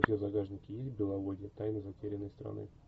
у тебя в загашнике есть беловодье тайна затерянной страны